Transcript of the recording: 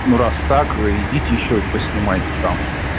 ну раз так вы идите ещё и поснимайте там